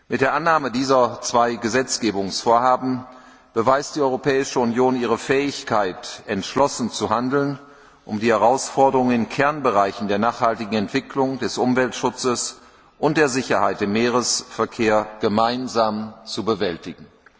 Mit der Annahme dieser zwei Gesetzgebungsvorhaben beweist die Europäische Union ihre Fähigkeit, entschlossen zu handeln, um die Herausforderungen in Kernbereichen der nachhaltigen Entwicklung, des Umweltschutzes und der Sicherheit im Seeverkehr gemeinsam zu bewältigen.